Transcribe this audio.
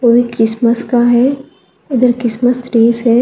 वो भी क्रिसमस का है इधर क्रिसमस ट्रीज है।